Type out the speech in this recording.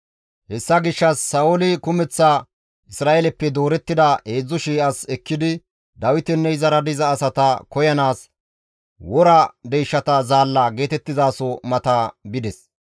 Hessa gishshas Sa7ooli kumeththa Isra7eeleppe doorettida 3,000 as ekkidi Dawitenne izara diza asata koyanaas, «Wora deyshata zaalla» geetettizaso mata bides.